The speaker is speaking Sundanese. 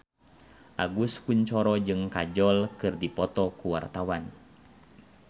Agus Kuncoro jeung Kajol keur dipoto ku wartawan